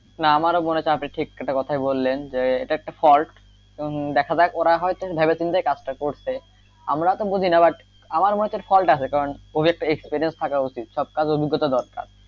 না আমারো মনে হচ্ছে আপনি একটা কথাই বললেন যে এটা একটা fault এবং দেখা যাক ওরা হয়তো ভেবে চিন্তে কাজটা করছে আমরা তো বুঝিনা but আমার মতে fault আছে ও একটা experience থাকা উচিৎ সব কিছু অভিজ্ঞতা দরকার,